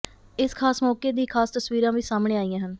ਇਸ ਖਾਸ ਮੌਕੇ ਦੀ ਖਾਸ ਤਸਵੀਰਾਂ ਵੀ ਸਾਹਮਣੇ ਆਈਆਂ ਹਨ